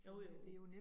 Jo jo